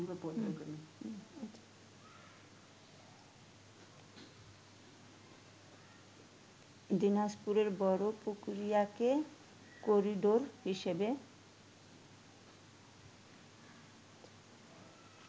দিনাজপুরের বড়পুকুরিয়াকে করিডোর হিসেবে